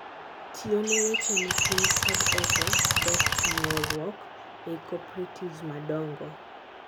Tiyo ne weche ne piny kod oko kod nuoruok ei cooperatives madongo